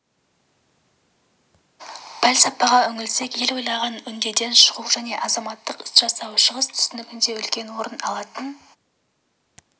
пәлсапаға үңілсек ел ойлаған үдеден шығу және азаматтық іс жасау шығыс түсінігінде үлкен орын алатын